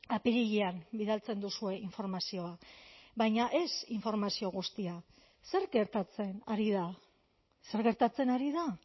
apirilean bidaltzen duzue informazioa baina ez informazio guztia zer gertatzen ari da zer gertatzen ari da